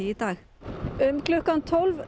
í dag um klukkan tólf